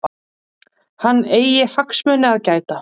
Hann eigi hagsmuni að gæta.